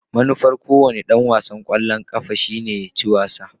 Manufar kowane dan wasan kwallon kafa shine ya ci wasa.